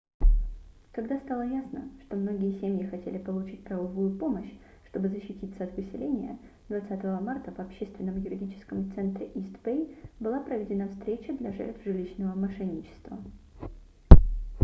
когда стало ясно что многие семьи хотели получить правовую помощь чтобы защититься от выселения 20 марта в общественном юридическом центре ист-бэй была проведена встреча для жертв жилищного мошенничества